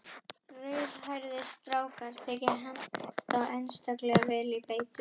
Rauðhærðir strákar þykja henta einstaklega vel til beitu.